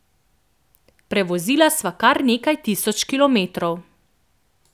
Prevozila sva kar nekaj tisoč kilometrov.